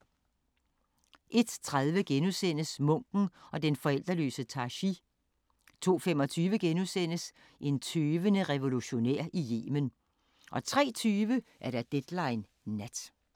01:30: Munken og den forældreløse Tashi * 02:25: En tøvende revolutionær i Yemen * 03:20: Deadline Nat